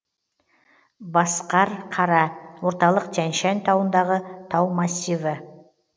басқарқара орталық тянь шань тауындағы тау массиві